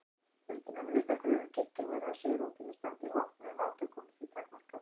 Vildu menn virða kröfur kirkjunnar var svigrúm til að standa í vopnuðum átökum því takmarkað.